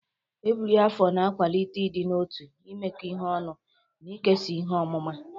Ebiri afo na-akwalite ịdị n'otu, imekọ ihe ọnụ, na ikesa ihe ọmụma.